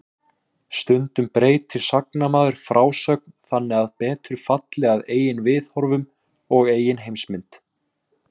Stundum breytir sagnamaður frásögn þannig að betur falli að eigin viðhorfum og eigin heimsmynd.